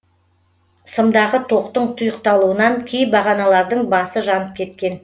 сымдағы тоқтың тұйықталуынан кей бағаналардың басы жанып кеткен